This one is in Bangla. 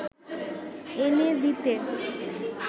এনে দিতে